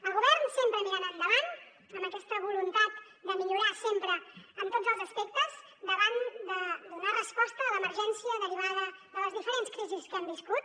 el govern sempre mirant endavant amb aquesta voluntat de millorar sempre en tots els aspectes davant de donar resposta a l’emergència derivada de les diferents crisis que hem viscut